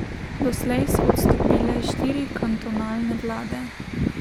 Doslej so odstopile štiri kantonalne vlade.